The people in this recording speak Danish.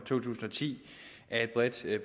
to tusind og ti af et bredt